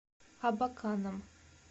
абаканом